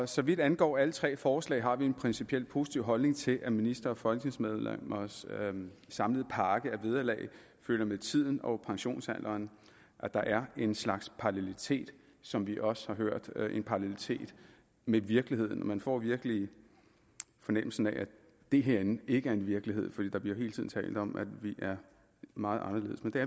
så vidt angår alle tre forslag har vi en principielt positiv holdning til at ministres og folketingsmedlemmers samlede pakke af vederlag følger med tiden og pensionsalderen og at der er en slags parallelitet som vi også har hørt med virkeligheden man får virkelig fornemmelsen af at det herinde ikke er en virkelighed for der bliver hele tiden talt om at vi er meget anderledes men det